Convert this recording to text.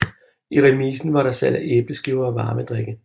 I remisen var der salg af æbleskiver og varme drikke